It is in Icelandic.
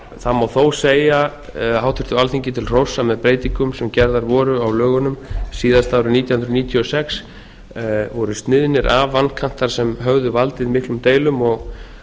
það má þó segja háttvirtu alþingi til hróss að með breytingum sem gerðar voru á lögunum síðast árið nítján hundruð níutíu og sex voru sniðnir af vankantar sem höfðu valdið miklum deilum og